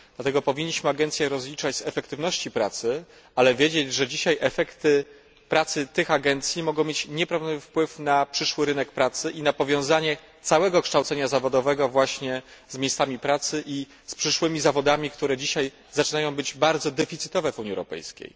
Dlatego powinniśmy agencje rozliczać z efektywności pracy, ale należy wiedzieć, że dziś efekty pracy tych agencji mogą mieć nieprawdopodobny wpływ na rynek pracy i na powiązanie całego kształcenia zawodowego właśnie z miejscami pracy i z przyszłymi zawodami, które dzisiaj zaczynają być deficytowe w Unii Europejskiej.